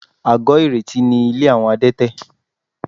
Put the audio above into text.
Àgọ́ìrètí ni ilé àwọn Adétẹ̀